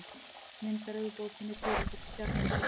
Myndaröð úr bókinni Dularfulla stjarnan.